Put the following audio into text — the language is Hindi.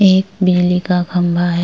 एक मेले का खंबा है।